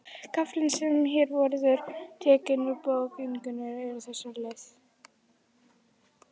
Kaflinn sem hér verður tekinn úr bók Ingunnar er á þessa leið